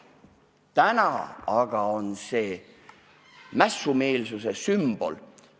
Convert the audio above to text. Täna aga on see mässumeelsuse sümbol.